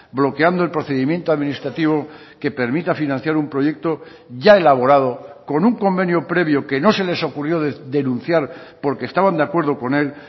bloqueando el procedimiento administrativo que permita financiar un proyecto ya elaborado con un convenio previo que no se les ocurrió denunciar porque estaban de acuerdo con él